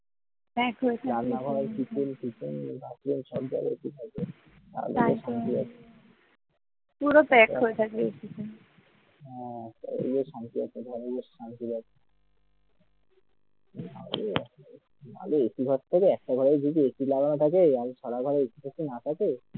ভাব একটা ঘরের থেকে আরেকটা ঘরে যদি AC লাগানো থাকে আর সারা ঘরে যদি AC না থাকে তাহলে